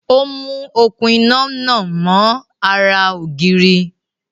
Ó mú okún iná náà mọ́ ara ògiri